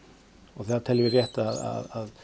því teljum við rétt að